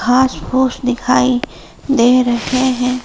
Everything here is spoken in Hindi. घास फूस दिखाई दे रहे हैं।